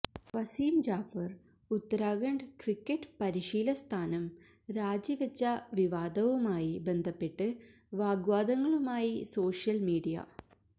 Waseem Jaffer Uttarakhand cricket പരിശീല സ്ഥാനം രാജിവെച്ച വിവാദവുമായി ബന്ധപ്പെട്ട് വാഗ്വാദങ്ങളുമായി സോഷ്യല് മീഡിയ